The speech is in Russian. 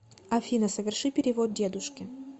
афина соверши перевод дедушке